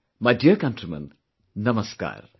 My dear countrymen, Namaskar